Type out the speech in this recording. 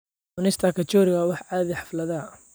Cunista kachori waa wax caadi ah xafladaha.